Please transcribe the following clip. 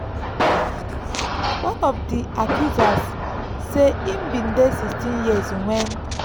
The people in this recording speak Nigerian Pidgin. one of di accusers say im bin dey 16 years wen